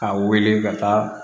A wele ka taa